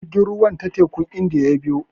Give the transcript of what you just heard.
Jirgin ruwan ta tekun Indiya ya biyo.